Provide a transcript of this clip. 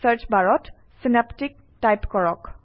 চাৰ্চবাৰত synaptic type কৰক